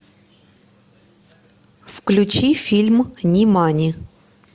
включи фильм нимани